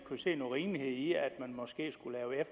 kunne se nogen rimelighed i at man måske skulle lave